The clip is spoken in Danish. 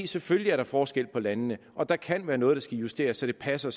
selvfølgelig er der forskel på landene og der kan være noget der skal justeres så det passer